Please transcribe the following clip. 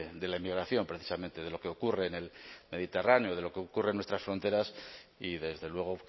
de la inmigración precisamente de lo que ocurre en el mediterráneo de lo que ocurre en nuestras fronteras y desde luego